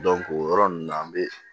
o yɔrɔ ninnu na an bɛ